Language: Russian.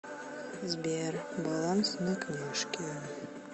сбер баланс на книжке